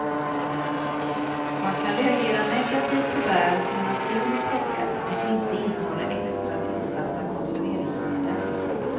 Man kan reagera negativt på bär som är naturligt plockade och som inte innehåller extra tillsatta konserveringsmedel.